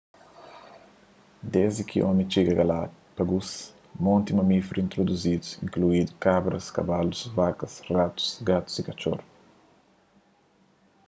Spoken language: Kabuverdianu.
desdi ki omi txiga na galápagus monti mamíferus introduzidu inkluindu kabras kabalus vakas ratus gatus y katxor